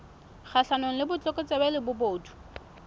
kgahlanong le botlokotsebe le bobodu